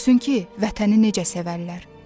Görsün ki, vətəni necə sevərlər.